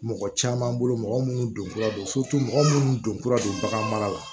Mɔgɔ caman bolo mɔgɔ munnu don kura don mɔgɔ munnu donkura don bagan mara la